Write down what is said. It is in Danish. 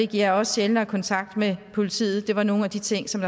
giver også sjældnere kontakt med politiet det var nogle af de ting som